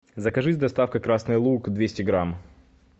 закажи с доставкой красный лук двести грамм